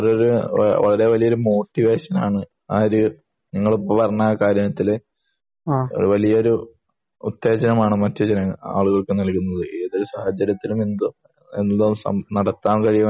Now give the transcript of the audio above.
അത് വലിയൊരു മോട്ടിവേഷൻ ആണ് നിങ്ങളെ കാര്യത്തിൽ വലിയൊരു ഉത്തേജനമാണ് മറ്റുള്ള ആളുകൾക്ക് ഏത് സാഹചര്യത്തിലും നടത്താൻ കഴിയും എന്നുള്ളത്